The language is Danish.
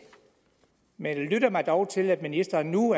men jeg lytter mig dog til at ministeren nu